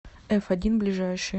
эфодин ближайший